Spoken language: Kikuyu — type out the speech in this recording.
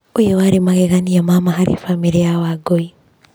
Ũyũ warĩ magegania ma ma harĩ bamĩrĩ ya Wangũi.